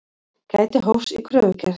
Gæti hófs í kröfugerð